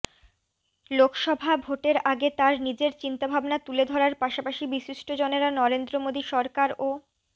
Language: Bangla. লোকসভা ভোটের আগে তাঁর নিজের চিন্তাভাবনা তুলে ধরার পাশাপাশি বিশিষ্টজনেরা নরেন্দ্র মোদী সরকার ও